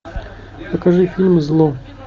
покажи фильм зло